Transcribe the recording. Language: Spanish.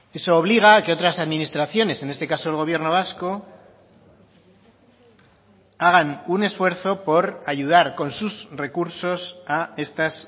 eso obliga a que otras administraciones en este caso el gobierno vasco hagan un esfuerzo por ayudar con sus recursos a estas